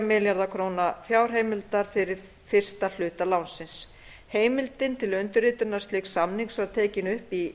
milljarða króna fjárheimildar fyrir fyrsta hluta lánsins heimildin til undirritunar slíks samnings var tekin upp í